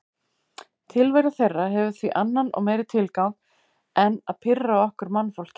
Tilvera þeirra hefur því annan og meiri tilgang en að pirra okkur mannfólkið.